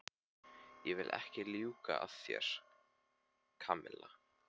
Ég vil ekki ljúga að þér, Kamilla.